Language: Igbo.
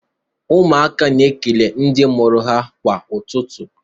Ụmụaka na-ekele ndị mụrụ ha kwa ụtụtụ.